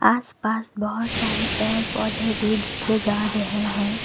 आसपास बहोत सारे पेड़ पौधे भी दिखे जा रहे हैं।